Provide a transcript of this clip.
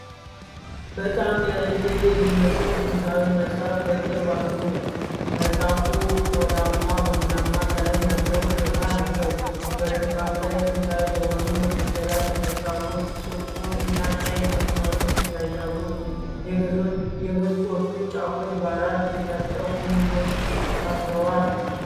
በጣም ያረጀ የሚመስል ጥንታዊ መጽሐፍ በቅርበት አሉ። መጽሐፉ ቆዳማ ቡናማ ቀለም ያለው ሽፋን አለው። በሽፋኑ ላይ ጥንታዊ በሆኑ ፊደላት የተጻፉ ጥቁር እና ቀይ መስመሮች ይታያሉ። የገጾቹ ጫፎች በአራት የታጠፉ ምኖች ታስረዋል?